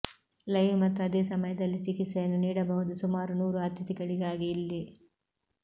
live ಮತ್ತು ಅದೇ ಸಮಯದಲ್ಲಿ ಚಿಕಿತ್ಸೆಯನ್ನು ನೀಡಬಹುದು ಸುಮಾರು ನೂರು ಅತಿಥಿಗಳಿಗಾಗಿ ಇಲ್ಲಿ